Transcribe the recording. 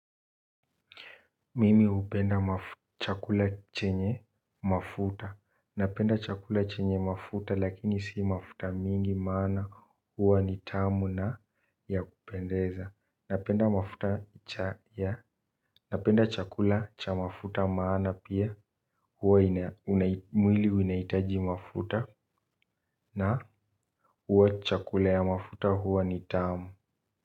Mimi hupenda chakula chenye mafuta. Napenda chakula chenye mafuta lakini si mafuta mingi maana huwa ni tamu na ya kupendeza. Napenda chakula cha mafuta maana pia huwa mwili inaitaji mafuta na huwa chakula ya mafuta huwa ni tamu.